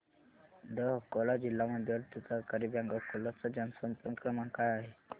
दि अकोला जिल्हा मध्यवर्ती सहकारी बँक अकोला चा जनसंपर्क क्रमांक काय आहे